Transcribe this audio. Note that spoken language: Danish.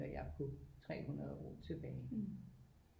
På 300 år tilbage